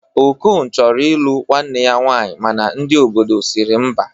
Okon chọrọ ilụ nwanne ya nwaanyi mana ndi obodo siri mba